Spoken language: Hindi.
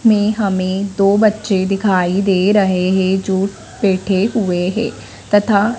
में हमें दो बच्चे दिखाई दे रहे हैं जो बैठे हुए हैं तथा--